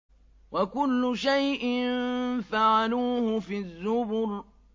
وَكُلُّ شَيْءٍ فَعَلُوهُ فِي الزُّبُرِ